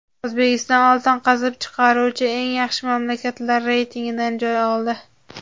O‘zbekiston oltin qazib chiqaruvchi eng yaxshi mamlakatlar reytingidan joy oldi.